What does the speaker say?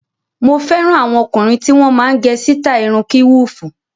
Mo fẹ́ràn àwọn ọkùnrin tí wọ́n máa ń gẹ sítáì irun kíwùfù.